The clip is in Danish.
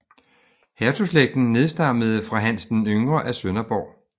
Hertugslægten nedstammede fra Hans den yngre af Sønderborg